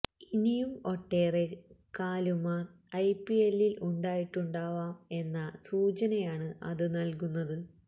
ഇനിയും ഒട്ടേറെ കാലുമാർ ഐപിഎല്ലിൽ ഉണ്ടായിട്ടുണ്ടാവാം എന്ന സൂചനയാണ് അത് നൽകുന്നത്